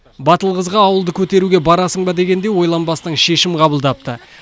батыл қызға ауылды көтеруге барасың ба дегенде ойланбастан шешім қабылдапты